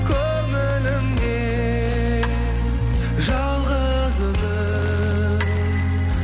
көңілімде жалғыз өзің